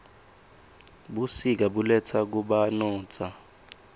busika buletsa kubanotza